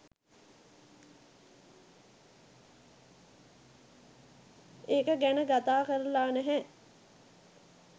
ඒක ගැන ගතා කරලා නැහැ.